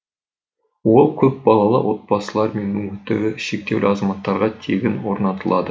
ол көпбалалы отбасылар мен мүмкіндігі шектеулі азаматтарға тегін орнатылады